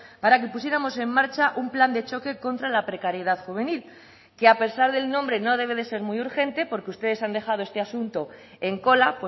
para que pusiéramos en marcha un plan de choque contra la precariedad juvenil que a pesar del nombre no debe de ser muy urgente porque ustedes han dejado este asunto en cola